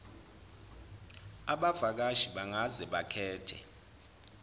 abavakashi bangaze bakhethe